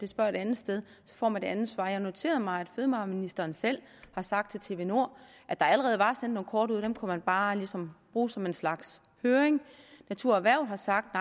spørger det andet sted så får man et andet svar jeg noterede mig at fødevareministeren selv har sagt til tv2nord at der allerede var sendt nogle kort ud og dem kunne man bare ligesom bruge som en slags høring natur og erhverv har sagt